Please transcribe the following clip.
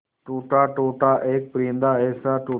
टूटा टूटा एक परिंदा ऐसे टूटा